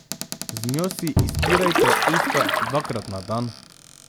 Z njo si izpirajte usta dvakrat na dan.